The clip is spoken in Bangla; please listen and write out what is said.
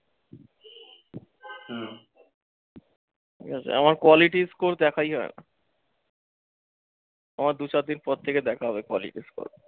আমার quality score দেখাই হয়না। আমার দু, চারদিন পর থেকে দেখা হবে quality score